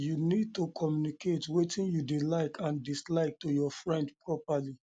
you need to communicate wetin you wetin you dey like and dislike to your friend properly